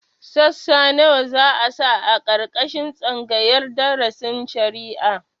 Sassa nawa za a sa a ƙarƙashin tsangayar darasin shari'a?